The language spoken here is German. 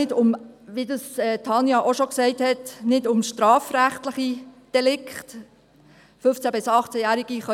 Dort geht es ja nicht um strafrechtliche Delikte, wie Tanja Bauer auch schon gesagt hat.